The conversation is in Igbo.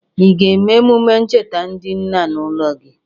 Ị ga-eme emume ncheta ndị nna n' ụlọ gi?